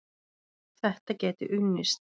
Þetta gæti unnist.